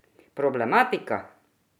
Problematika?